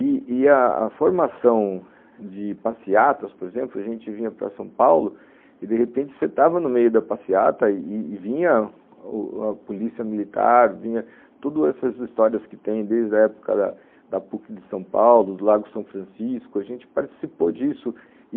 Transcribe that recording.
E a a formação de passeatas, por exemplo, a gente vinha para São Paulo e de repente você estava no meio da passeata e vinha a polícia militar, vinha todas essas histórias que tem desde a época da PUC de São Paulo, do Lago São Francisco, a gente participou disso.